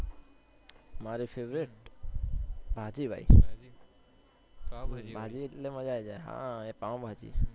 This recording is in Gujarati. મારી favourite ભાજી ભાઈ ભાજી એટલે મજ્જા આવી જાય પાવભાજી